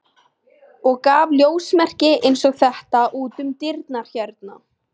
og gaf ljósmerki eins og þetta út um dyrnar hérna.